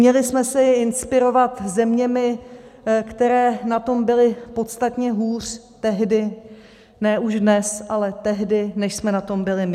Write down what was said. Měli jsme se inspirovat zeměmi, které na tom byly podstatně hůř tehdy, ne už dnes, ale tehdy, než jsme na tom byli my.